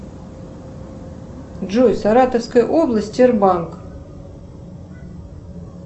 джой саратовская область тербанк